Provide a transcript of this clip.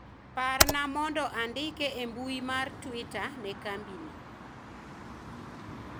parna mondo andik e mbui mar twita ne kambi ni